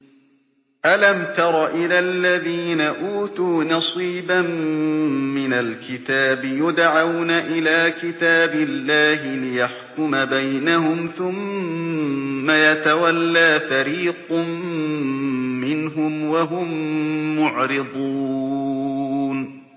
أَلَمْ تَرَ إِلَى الَّذِينَ أُوتُوا نَصِيبًا مِّنَ الْكِتَابِ يُدْعَوْنَ إِلَىٰ كِتَابِ اللَّهِ لِيَحْكُمَ بَيْنَهُمْ ثُمَّ يَتَوَلَّىٰ فَرِيقٌ مِّنْهُمْ وَهُم مُّعْرِضُونَ